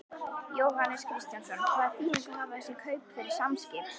Jóhannes Kristjánsson: Hvaða þýðingu hafa þessi kaup fyrir Samskip?